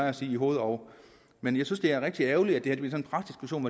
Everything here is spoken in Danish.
at sige i hoved og men jeg synes at det er rigtig ærgerligt at det